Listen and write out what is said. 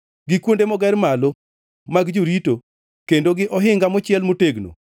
gi kuonde moger malo mag jorito, kendo gi ohinga mochiel motegno,